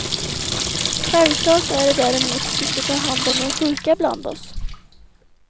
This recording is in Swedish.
Självklart är det däremot att vi ska ta hand om de sjuka bland oss.